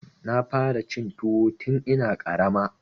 Na fara cin tuwo tun ina ƙarama.